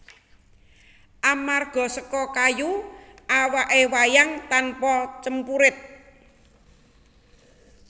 Amarga seka kayu awake wayang tanpa cempurit